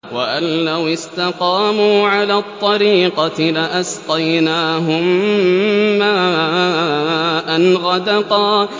وَأَن لَّوِ اسْتَقَامُوا عَلَى الطَّرِيقَةِ لَأَسْقَيْنَاهُم مَّاءً غَدَقًا